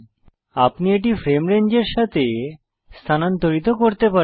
আপনি এটি ফ্রেম রেঞ্জের সাথে স্থানান্তরিত করতে পারেন